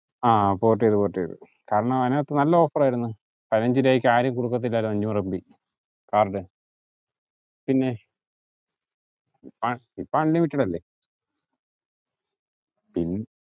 ആഹ് port ചെയ്ത് port ചെയ്ത് കാരണം അതിനകത്തു നല്ല offer ആയിരുന്നു പതിനഞ്ച് രൂപയ്ക്ക് ആരും കൊടുക്കത്തില്ലായിരുന്നു അഞ്ഞൂറ് mbകാർഡ് പിന്നെ ഇപ്പൊ unlimited അല്ലെ